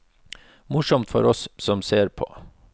Morsomt for oss som ser på.